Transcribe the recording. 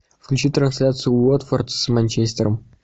включи трансляцию уотфорд с манчестером